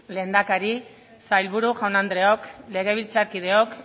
lehendakari sailburu jaun andreok legebiltzarkideok